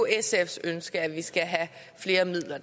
sfs ønske at vi skal have flere midler